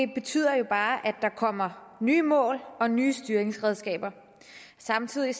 det betyder jo bare at der kommer nye mål og nye styringsredskaber samtidig